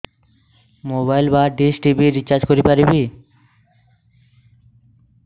mobile ବା dish TV recharge କରି ପାରିବି